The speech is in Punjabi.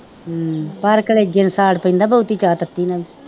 ਪਰ ਕਲੇਜੇ ਨੂੰ ਸਾੜ ਪੈਂਦਾ ਬੋਹਤੀ ਚਾਹ ਤੱਤੀ ਨਾਲ